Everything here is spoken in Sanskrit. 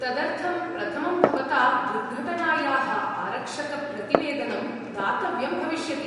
तदर्थं, प्रथमं, भवता दुर्घटनायाः आरक्षकप्रतिवेदनं दातव्यं भविष्यति।